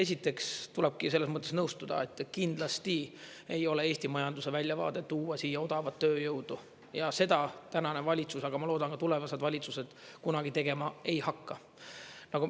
Esiteks tulebki selles mõttes nõustuda, et kindlasti ei ole Eesti majanduse väljavaade tuua siia odavat tööjõudu ja seda tänane valitsus, aga ma loodan, ka tulevased valitsused kunagi tegema ei hakka.